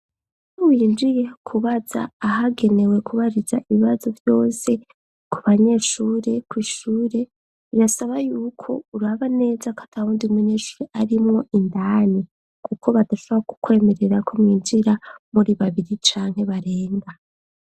Iyo winjiye kubaza ahagenewe kubariza ibibazo vyose ku banyeshure ,kw' ishure birasaba yuko uraba neza ko atawundi munyeshuri arimwo indani ,kuko badashobora kukwemerera ko mwinjira muri babiri canke barenga.